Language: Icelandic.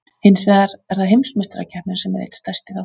Hins vegar er það Heimsmeistarakeppnin sem er einn stærsti þátturinn.